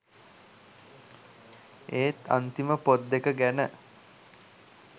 ඒත් අන්තිම පොත් දෙක ගැන